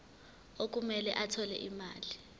okumele athole imali